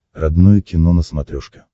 родное кино на смотрешке